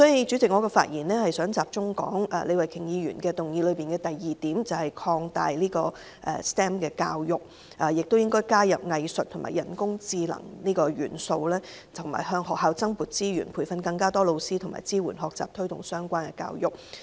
主席，我想集中討論李慧琼議員的議案的第二點，就是擴大 STEM 教育，加入藝術和人工智能元素，以及向學校增撥資源，以培訓更多教師和支援學習，推動相關教育。